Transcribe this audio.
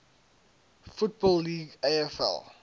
football league afl